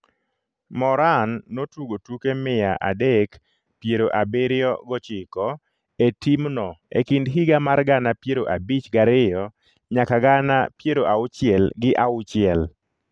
Moran notugo tuke mia adek piero abiriyo gochiko e timno e kind higa mar gana piero abich gariyo nyaka gana piero auchiel gi auchiel.